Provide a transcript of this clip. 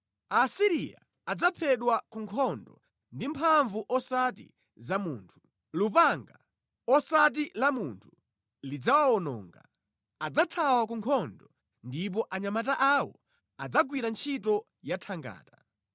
“Aasiriya adzaphedwa ku nkhondo ndi mphamvu osati za munthu. Lupanga, osati la munthu, lidzawawononga. Adzathawa ku nkhondo ndipo anyamata awo adzagwira ntchito yathangata.